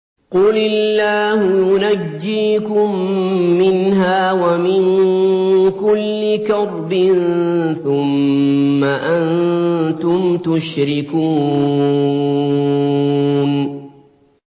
قُلِ اللَّهُ يُنَجِّيكُم مِّنْهَا وَمِن كُلِّ كَرْبٍ ثُمَّ أَنتُمْ تُشْرِكُونَ